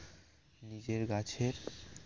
নিজের গাছের